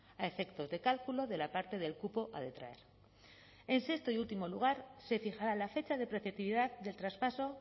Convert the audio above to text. a efectos de cálculo de la parte del cupo a detraer en sexto y último lugar se fijará la fecha de preceptividad del traspaso